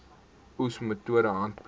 oes metode handpluk